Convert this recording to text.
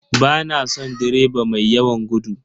Ba na son direba mai yawan gudu.